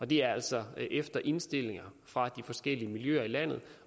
det er altså efter indstilling fra de forskellige miljøer i landet